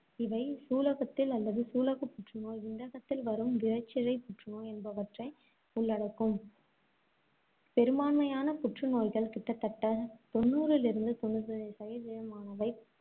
இவை சூலகத்தில் அல்லது சூலகப் புற்றுநோய் விந்தகத்தில் வரும் விரைச்சிரைப் புற்றுநோய் என்பவற்றை உள்ளடக்கும். பெரும்பான்மையான புற்றுநோய்கள் கிட்டத்தட்ட தொண்ணூறில் இருந்து தொண்ணுத்தைந்து சதவீதமானவை